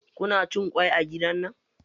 Kuna cin kwai a gidan nan?